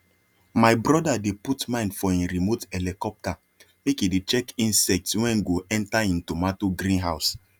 my brother dey put mind for him remote helicopter make e dey check insects when go enter him tomato green house